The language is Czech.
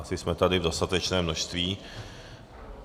Asi jsme tady v dostatečném množství.